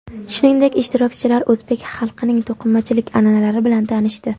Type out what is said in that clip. Shuningdek, ishtirokchilar o‘zbek xalqining to‘qimachilik an’analari bilan tanishdi.